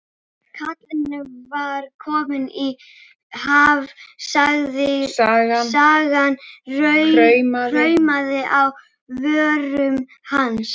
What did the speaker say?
Kallinn var kominn í ham, sagan kraumaði á vörum hans.